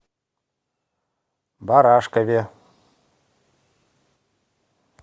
барашкове